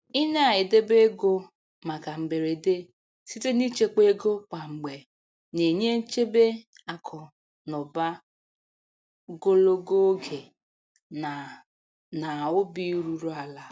I na-edebe ego maka mberede site n'ịchekwa ego kwa mgbe na-enye nchebe akụ na ụba gologo oge na na obi ruru ala.